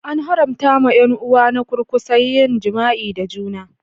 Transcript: An haramta wa 'yan uwa na kurkusa yin jima'i da juna.